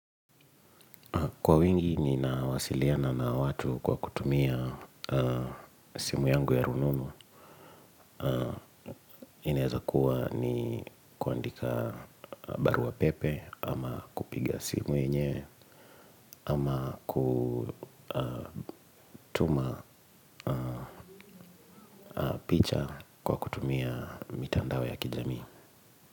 Kwa wingi ninawasiliana na watu kwa kutumia simu yangu ya rununu hii inaeza kuwa ni kuandika barua pepe ama kupiga simu yenyewe. Ama kutuma picha kwa kutumia mitandao ya kijamii.